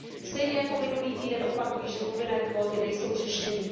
Stejně jako minulý týden opakuji, že povinné kvóty nejsou řešením.